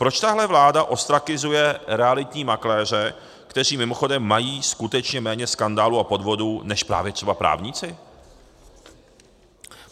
Proč tahle vláda ostrakizuje realitní makléře, kteří mimochodem mají skutečně méně skandálů a podvodů než právě třeba právníci?